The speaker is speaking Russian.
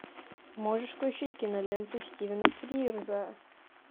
можешь включить киноленту стивена фрирза